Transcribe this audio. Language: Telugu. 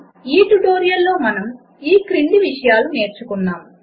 ఈ ట్యుటోరియల్లో మనము ఇవి నేర్చుకున్నాము 1